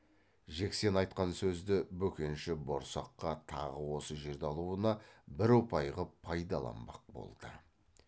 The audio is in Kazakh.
жексен айтқан сөзді бөкенші борсаққа тағы осы жерді алуына бір ұпай қып пайдаланбақ болды